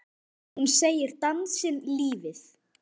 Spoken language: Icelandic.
Hún segir dansinn lífið.